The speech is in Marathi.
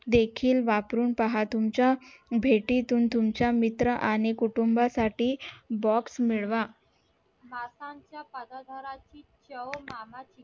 खील पावरून पहा तुमच्या भेटीतून तुमच्या मित्र आणि कुटुंबा box मिळवा